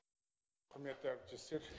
құрметті әріптестер